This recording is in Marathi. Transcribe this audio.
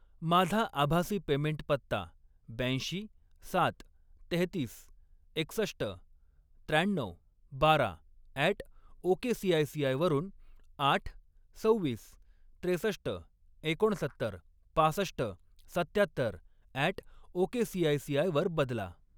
माझा आभासी पेमेंट पत्ता ब्याऐंशी, सात, तेहतीस, एकसष्ट, त्र्याण्णऊ, बारा अॅट ओकेसीआयसीआय वरून आठ, सव्वीस, त्रेसष्ट, एकोणसत्तर, पासष्ट, सत्त्यात्तर अॅट ओकेसीआयसीआय वर बदला